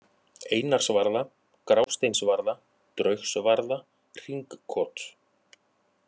Einarsvarða, Grásteinsvarða, Draugsvarða, Hringkot